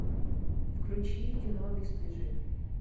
включи кино бесстыжие